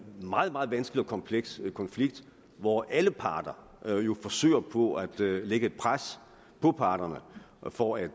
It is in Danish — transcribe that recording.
meget meget vanskelig og kompleks konflikt hvor alle parter jo forsøger på at lægge et pres på parterne for at